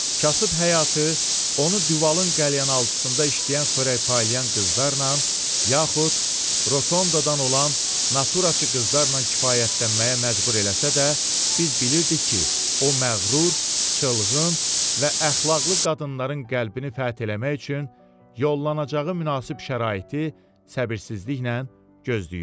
Kasıb həyatı onu Duvalın qəlyanaltıcısında işləyən xörəkpaylayan qızlarla, yaxud Rotondan olan naturaçı qızlarla kifayətlənməyə məcbur eləsə də, biz bilirdik ki, o məğrur, çılğın və əxlaqlı qadınların qəlbini fəth eləmək üçün yollanacağı münasib şəraiti səbirsizliklə gözləyir.